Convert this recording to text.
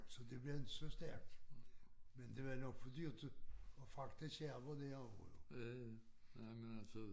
Så det blev inte så stærkt men det var nok for dyrt at fragte skærverne derover jo